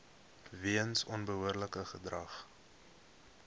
weens onbehoorlike gedrag